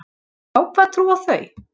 Á hvað trúa þau?